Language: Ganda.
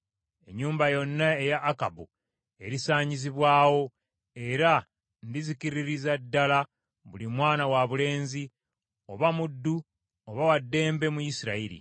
Ennyumba yonna eya Akabu erisaanyizibwawo, era ndizikiririza ddala buli mwana wabulenzi, oba muddu oba wa ddembe mu Isirayiri.